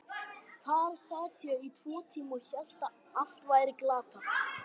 Þarna sat ég í tvo tíma og hélt að allt væri glatað.